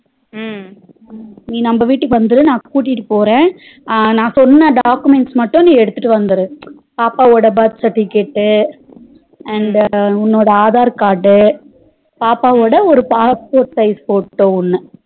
நீ நம்ம வீட்டுக்கு வந்துரு நா கூட்டிட்டு போற நா சொன்ன documents மட்டும் நீ எடுத்துட்டு வந்துரு பாப்பாவோட birth certificate and உன்னோட aadhar card பாப்பாவோட ஒரு passport size photo ஒன்னு